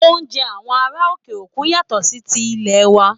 Oúnjẹ àwọn ará òkè òkun yàtọ̀ sí ti ilè wa